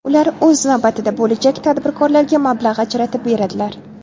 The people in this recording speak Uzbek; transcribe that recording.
Ular, o‘z navbatida, bo‘lajak tadbirkorlarga mablag‘ ajratib beradilar.